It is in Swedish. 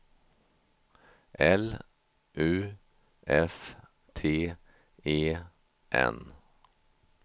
L U F T E N